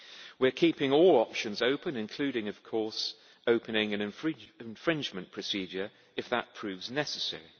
We are keeping all options open, including of course opening an infringement procedure if that proves necessary.